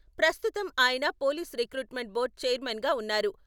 ప్రస్తుతం ఆయన police recruitment board chairman గా ఉన్నారు.